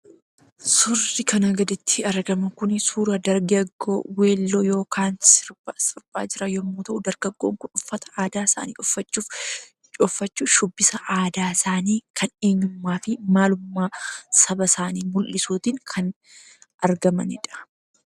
Suurri kana gaditti argamu kun suuraa dargaggoo well-used yookaan sirba siraa jiran yommuu ta'u, dargaggoon kun uffata aadaa isaanii uffachuun shubbisa aadaa isaanii kan eenyummaa fi maalummaa saba isaanii mul'isuutiin kan argamanidha.